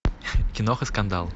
киноха скандал